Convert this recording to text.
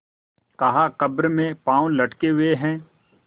कहाकब्र में पाँव लटके हुए हैं